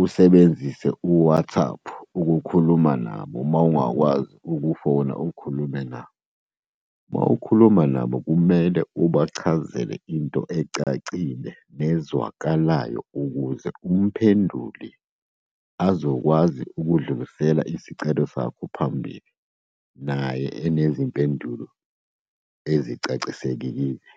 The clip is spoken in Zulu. usebenzise u-WhatsApp ukukhuluma nabo, uma ungakwazi ukufona, ukhulume nabo. Uma ukhuluma nabo. Kumele ubachazele into ecacile nezwakalayo, ukuze umphenduli azokwazi ukudlulisela isicelo sakho phambili naye enezimpendulo ezicaciselekile.